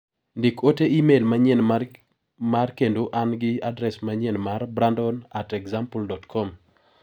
Ndik ote imel manyien mar kendo an gi adres manyien mar brandon@example.com